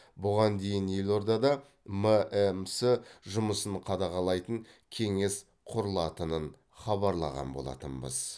бұған дейін елордада мәмс жұмысын қадағалайтын кеңес құрылатынын хабарлаған болатынбыз